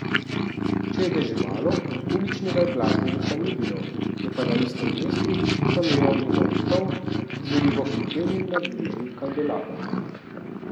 Če je deževalo, uličnega glasbenika ni bilo, je pa na istem mestu sameval njegov stol, z verigo priklenjen na bližnji kandelaber.